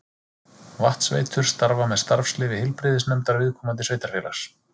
Vatnsveitur starfa með starfsleyfi heilbrigðisnefndar viðkomandi sveitarfélags.